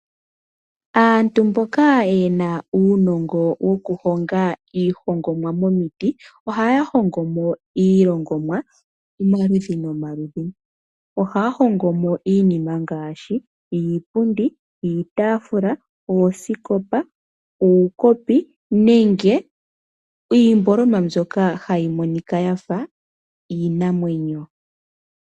Aantu mboka yena uunongo wokuhonga iihongomwa momiti ohaya hongo mo iilongomwa omaludhi nomaludhi. Ohaya hongo mo iinima ngaashi iipundi, iitaafula, oosikopa, uukopi nenge iihongomwa mbyoka hayi monika yafa iinamwenyo.